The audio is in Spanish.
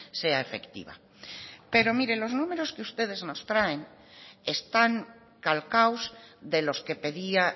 sea efectiva pero mire los números que ustedes nos traen están calcados de los que pedía